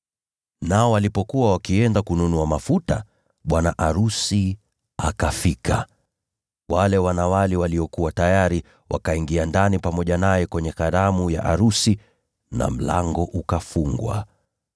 “Nao walipokuwa wakienda kununua mafuta, bwana arusi akafika. Wale wanawali waliokuwa tayari wakaingia ndani pamoja naye kwenye karamu ya arusi na mlango ukafungwa.